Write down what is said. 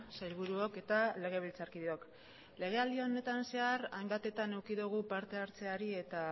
sailburuok eta legebiltzarkideok legealdi honetan zehar hainbatetan eduki dugu partehartzeari eta